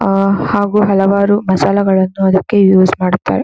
ಆಹ್ಹ್ ಹಾಗು ಹಲವಾರು ಮಸಾಲೆಗಳನ್ನು ಅದಕ್ಕೆ ಯೂಸ್ ಮಾಡುತ್ತಾರೆ.